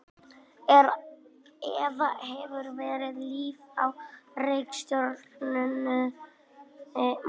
Er eða hefur verið líf á reikistjörnunni Mars?